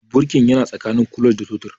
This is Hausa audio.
Birki yana tsakanin clutch da totir